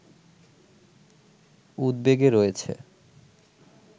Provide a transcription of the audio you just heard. উদ্বেগে রয়েছে